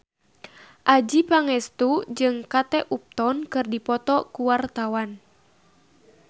Adjie Pangestu jeung Kate Upton keur dipoto ku wartawan